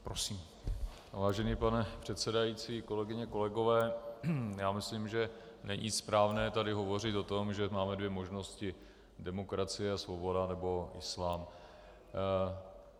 Vážený pane předsedající, kolegyně, kolegové, já myslím, že není správné tady hovořit o tom, že máme dvě možnosti - demokracie a svoboda, nebo islám.